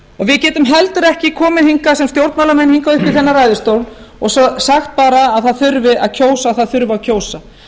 við getum heldur ekki komið sem stjórnmálamenn upp í þennan ræðustól og sagt að það þurfi að kjósa það þurfi að kjósa